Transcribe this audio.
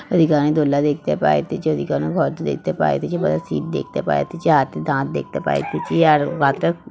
ওইদিকে অনেক দোল্লা দেখতে পাইতেছি। ওইদিকে অনেক ঘর দেখতে পায়তেছি। বসার সিট দেখতে পায়তেছি। হাতির দাঁত দেখতে পায়তেছি। আর --